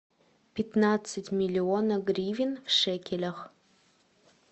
пятнадцать миллионов гривен в шекелях